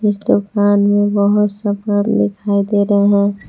इस दुकान में बहुत सा दिखाई दे रहा--